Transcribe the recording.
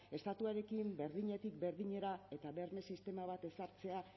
estatuarekin berdinetik berdinera eta berme sistema bat ezartzea